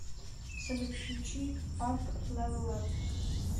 салют включи ап левел ап